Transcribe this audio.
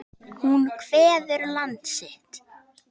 Hún kveður land sitt.